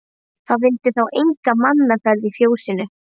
Það vildi þá enga mannaferð í fjósinu.